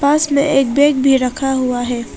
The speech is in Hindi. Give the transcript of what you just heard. पास में एक बैग भी रखा हुआ है।